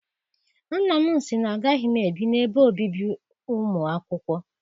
Nna m sị na agaghị m ebi n'ebe obibi ụmụ akwụkwọ.